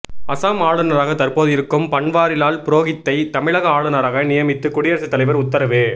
அசாம் ஆளுநராக தற்போது இருக்கும் பன்வாரிலால் புரோகித்தை தமிழக ஆளுநராக நியமித்து குடியரசுத் தலைவர் உத்தரவு